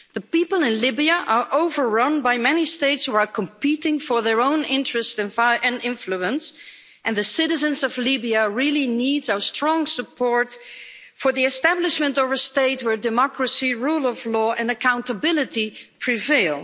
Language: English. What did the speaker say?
The people in Libya are overrun by many states who are competing for their own interests and influence, and the citizens of Libya really need our strong support for the establishment of a state where democracy, the rule of law and accountability prevail.